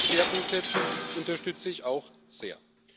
Dass Sie hier einen Schwerpunkt setzen, unterstütze ich auch sehr.